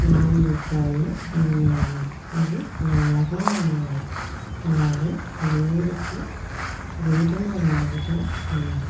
నాలుగు కాళ్ళు ఉన్నాయి. అవి నల్లగా ఉన్నాయి. అలాగే లేడి కి గోధుమ రంగు లో ఉంది.